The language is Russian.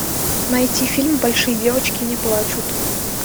найти фильм большие девочки не плачут